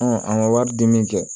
an ka wari di min kɛ